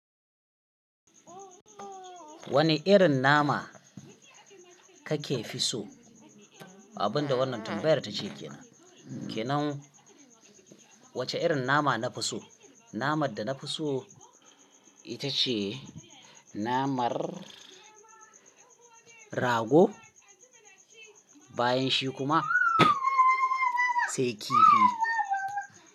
Wani irin nama kake fi so? Abin da wannan tambayar tace ke nan. Ke nan wacce irin nama na fi so? Namar da na fi so ita ce namar rago, bayan shi kuma sai kifi.